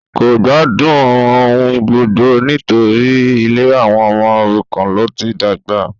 kò gbádùn ohungbogbo nítorí ilé àwọn ọmọ òrukàn ló ti dàgbà